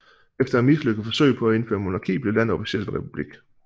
Efter et mislykket forsøg på at indføre monarki blev landet officielt en republik